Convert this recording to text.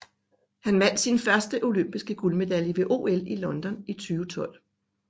Han vandt sin første olympiske guldmedalje ved OL i London i 2012